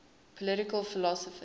political philosophers